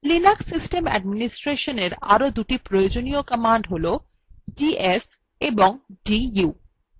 linux system অ্যাডমিনিস্ট্রেশনএর আরো দুটি প্রয়োজনীয় commands হল df of du